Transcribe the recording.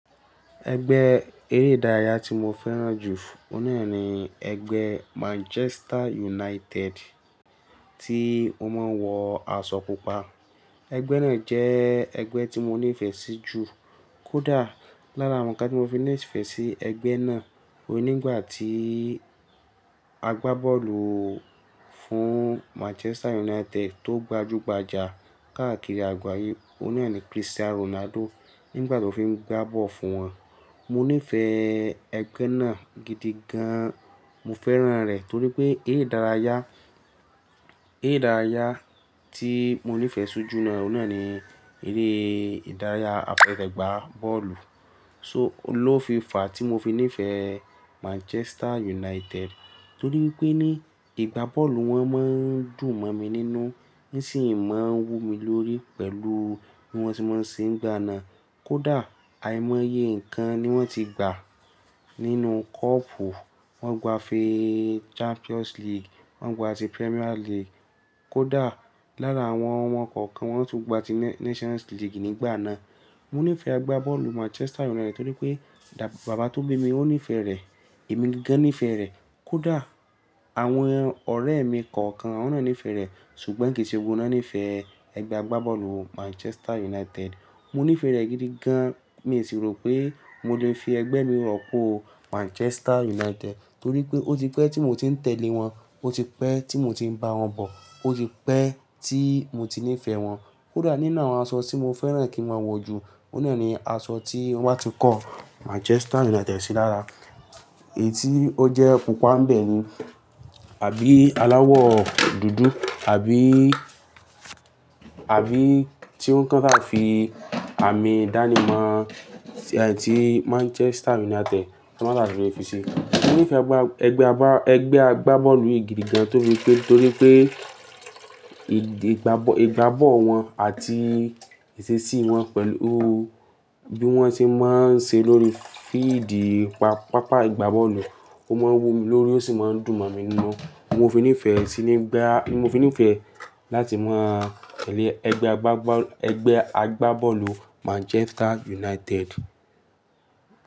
Ẹgbẹ́ eré ìdárayá tí mo fẹ́ràn jù òhun nàá ni ẹgbẹ́ Manchester United tí ó máa ń wọ aṣọ pupa. Ẹgbẹ́ náà jẹ́ ẹgbẹ́ tí mo nífẹ̀ẹ́ sí jù. Kódà lára àwọn ñnkan mo fi ní ìfẹ́ sí ẹgbẹ́ náà ni nígbà tí agbábọ́ọ̀lù fún Manchester United tó gbajúgbajà káàkiri àgbáyé, ó ní ẹ̀ni Cristiano Ronaldo. Nígbà tó fi ń gbá bọ́ọ̀lù fún wọn. Mo nífẹ̀ẹ́ ẹgbẹ́ náà gidi gan. Mo fẹ́ràn rẹ̀ torí pé eré ìdárayá, eré ìdárayá tí mo nífẹ̀ẹ́ sí jù ní ọ̀nà náà ni eré ìdárayá àfesè gbá bọ́ọ̀lù. So ó ló fi fàá tí mo fi nífẹ̀ẹ́ Manchester United torí pé ní ìgbá bọ́ọ̀lù wọn máa ń dùn mọ̀ mi nínú. Ní sì ń máa wú mi lórí pẹ̀lú bí wọ́n tí máa ń ṣe ń gbá náà. Kódà àìmọye nǹkan ni wọ́n ti gbà nínú kọ́ọ̀pù. Wọn gba ifee Champions League, wọ́n gba ti Premier League. Kódà lára àwọn ọmọ kọ̀ọ̀kan wọn tún gba ti Nations League nígbà náà. Mo nífẹ̀ẹ́ ẹgbẹ́ agbábọ́ọ̀lù Manchester United torí pé bàbá tó bí mi ó nífẹ̀ẹ́ rẹ̀. Ẹ̀mi gan nífẹ̀ẹ́ rẹ̀. Kódà àwọn ọ̀rẹ́ mi kọ̀ọ̀kan wọ́n náà nífẹ̀ẹ́ rẹ̀. Ṣùgbọ́n kì í ṣe gbogbo won náà nífẹ̀ẹ́ ẹgbẹ́ agbábọ́ọ̀lù Manchester United. Mo nífẹ̀ẹ́ rẹ̀ gidi gan. Mi sì rò pé mo lè fi ẹgbẹ́ mi rọ́pò Manchester United torí pé ó ti pẹ́ tí mò tí ń tẹ̀lé wọn. Ó ti pẹ́ tí mò ti ń bá wọn bọ̀. Ó ti pẹ́ tí mò ti nífẹ̀ẹ́ wọn. Kódà nínu àwọn aṣọ tí mo fẹ́ràn kí wọ́n wọ̀ jù, ó náà ni aṣọ tí wọn bá ti kọ́ Manchester United sí lára. Èyí tí ó jẹ́ pupa ń bẹ ni. Àbí aláwọ̀ dúdú àbí, àbí tí wọ́n kàn sáà fi àmì ìdánimọ̀ ti Manchester United, tiwọn sáà ti fi ṣe. Mo nífẹ̀ẹ́ ẹgbẹ́ agbá, ẹgbẹ́ agbá, ẹgbẹ́ agbábọ́ọ̀lù yìí gidi gan torí pé, torí pé ìgbá, ìgbá bọ́òlu won àti ìṣesí wọn pẹ̀lú bí wọ́n ti máa ń ṣe lórí fíídì pápá ìgbá bọ́ọ̀lù. Ó máa ń wú mi lórí ó sì máa ń dùn mọ̀ mi nínú. Ni mo fi nífẹ̀ẹ́ sí nígbá, mo fi nífẹ̀ẹ́ láti máa tẹ̀lé ẹgbẹ́ agbábọ́ọ̀, ẹgbẹ́ agbábọ́ọ̀lù Manchester United.